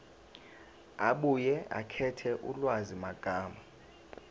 abuye akhethe ulwazimagama